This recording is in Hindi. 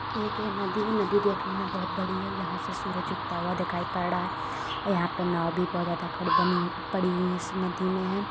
एक यह नदी है नदी देखने में बहुत बड़ी है यहाँ से सूरज उगता हुआ दिखाई पड़ रहा है और यहाँ पे नाव भी बहुत ज्यादा खड़ बनी हुई पड़ी हुई इस नदी में है।